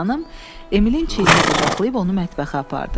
Tşpayın xanım Emilin çiynini qucaqlayıb onu mətbəxə apardı.